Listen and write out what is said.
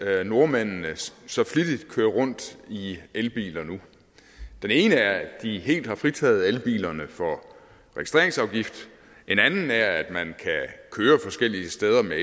at nordmændene så flittigt kører rundt i elbiler en er at de helt har fritaget elbilerne for registreringsafgift en anden er at man kan køre forskellige steder med